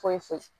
Foyi foyi